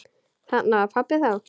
Þarna var pabbi þá.